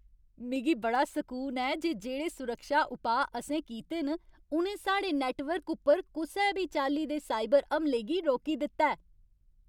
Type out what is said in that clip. मिगी बड़ा सकून ऐ जे जेह्ड़े सुरक्षा उपाऽ असें कीते न उ'नें साढ़े नैट्टवर्क उप्पर कुसै बी चाल्ली दे साइबर हमले गी रोकी दित्ता ऐ।